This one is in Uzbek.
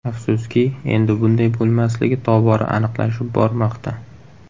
Afsuski, endi bunday bo‘lmasligi tobora aniqlashib bormoqda.